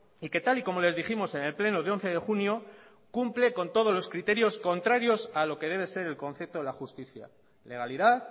y que tal y como les dijimos en el pleno de once de junio cumple con todos los criterios contrarios a lo que debe ser el concepto de la justicia legalidad